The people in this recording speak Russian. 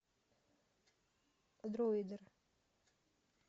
дроидер